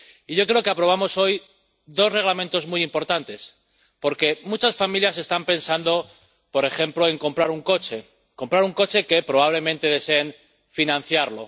Yo creo que aprobamos hoy dos Reglamentos muy importantes, porque muchas familias están pensando, por ejemplo, en comprar un coche que, probablemente, deseen financiar.